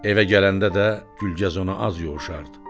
Evə gələndə də Gülgəz ona az yoğuşardı.